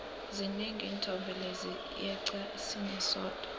zinengi iinthombe lezi yeqa sinye sodwa